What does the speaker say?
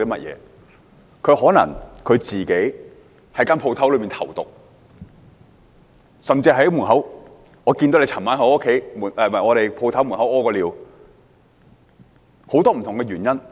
他可能曾在店鋪裏投毒，甚至是老闆看到他昨晚在店鋪門口小便，很多不同的原因。